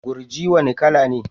Gurji wane kala ne?